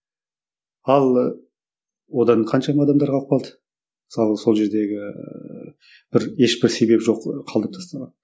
ал одан қаншама адамдар қалып қалды мысалы сол жердегі ііі бір ешбір себебі жоқ қалдырып тастаған